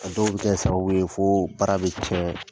A dɔw bi kɛ sababu ye fo baara bɛ cɛn